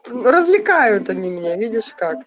развлекают они меня видишь как